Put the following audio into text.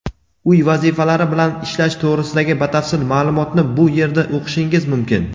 Uy vazifalari bilan ishlash to‘g‘risidagi batafsil ma’lumotni bu yerda o‘qishingiz mumkin.